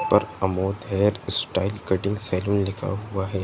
और Amod hair style cutting salon लिखा हुआ है।